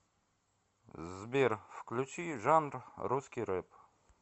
сбер включи жанр русский рэп